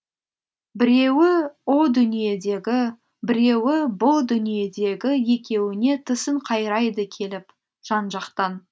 біреуі о дүниедегі біреуі бұ дүниедегі екеуіне тісін қайрайды келіп жан жақтан